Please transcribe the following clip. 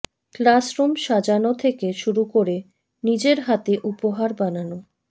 classroom সাজানো থেকে শুরু করে নিজের হাতে উপহার বানানো